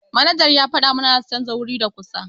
Manajan ya fada mana zasu chanza wuri da kusa.